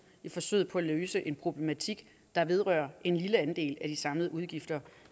i forsøget på at løse en problematik der vedrører en lille andel af de samlede udgifter